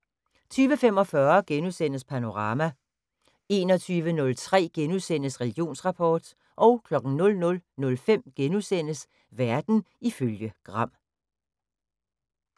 20:45: Panorama * 21:03: Religionsrapport * 00:05: Verden ifølge Gram *